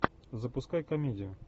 запускай комедию